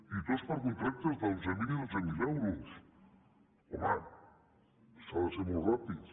i tots per contractes d’onze mil i dotze mil euros home s’ha de ser molt ràpid